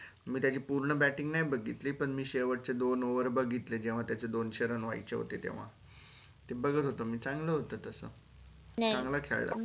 मी त्याची पूर्ण batting नाही बघितली पण मी शेवटचे दोन over बघितले जेव्हा त्याचे दोनशे व्यायचे होते तेव्हा ते बघत होत चंगल होत तसं